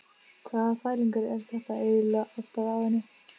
Hvaða þvælingur er þetta eiginlega alltaf á henni?